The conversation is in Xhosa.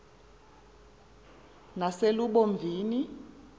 yaselubomvini